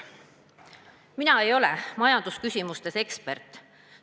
" Mina ei ole majandusküsimustes ekspert.